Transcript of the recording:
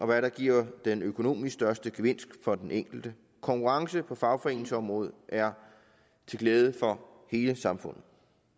hvad der giver den økonomisk største gevinst for den enkelte konkurrence på fagforeningsområdet er til glæde for hele samfundet